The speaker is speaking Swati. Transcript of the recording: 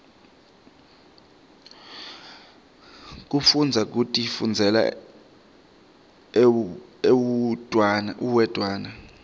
kufundza kutifundzela uwedwana